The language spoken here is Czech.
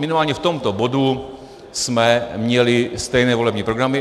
Minimálně v tomto bodu jsme měli stejné volební programy.